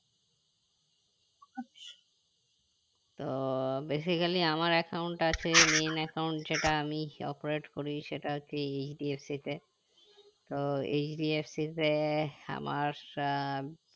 তো basically আমার account আছে main account সেটা আমি operate করি সেটা হচ্ছে HDFC তে তো HDFC তে আমার আহ